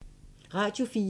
Radio 4